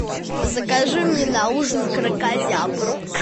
закажи мне на ужин кракозябру